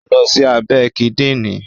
ó lọ sí abẹ́ Kídìnrín